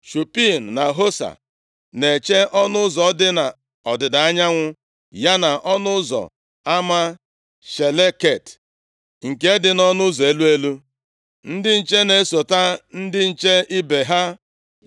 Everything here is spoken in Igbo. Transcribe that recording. Shupim na Hosa na-eche ọnụ ụzọ dị nʼọdịda anyanwụ ya na ọnụ ụzọ ama Shaleket nke dị nʼụzọ elu elu. Ndị nche na-esota ndị nche ibe ha.